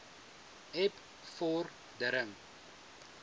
eb vor dering